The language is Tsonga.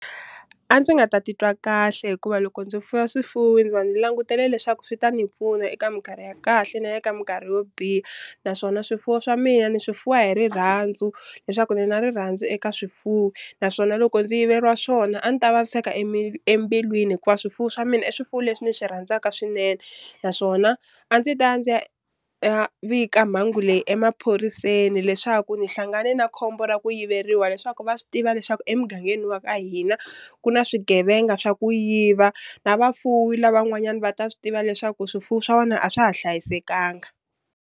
A ndzi nga ta titwa kahle hikuva loko ndzi fuya swifuwo ndzi va ndzi langutele leswaku swi ta ni pfuna eka minkarhi ya kahle na le ka minkarhi yo biha, naswona swifuwo swa mina ni swi fuwa hi rirhandzu leswaku ni na rirhandzu eka swifuwo, naswona loko ndzi yiveriwa swona a ni ta vaviseka embilwini hikuva swifuwo swa mina i swifuwo leswi ni swi rhandzaka swinene. Naswona a ndzi ta ndzi ya vika mhangu leyi emaphoriseni leswaku ndzi hlangane na khombo ra ku yiveriwa leswaku va swi tiva leswaku emugangeni wa ka hina ku na swigevenga swa ku yiva na vafuwi lavan'wanyani va ta swi tiva leswaku swifuwo swa wena a swa ha hlayisekanga.